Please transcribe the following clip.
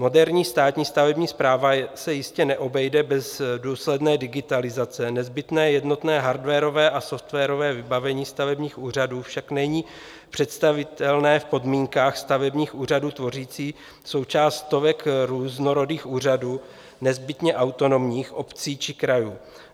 Moderní státní stavební správa se jistě neobejde bez důsledné digitalizace, nezbytné jednotné hardwarové a softwarové vybavení stavebních úřadů však není představitelné v podmínkách stavebních úřadů tvořících součást stovek různorodých úřadů nezbytně autonomních obcí či krajů.